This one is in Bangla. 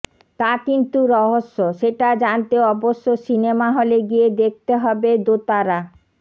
তা কিন্তু রহস্য সেটা জানতে অবশ্য সিনেমা হলে গিয়ে দেখতে হবে দোতারা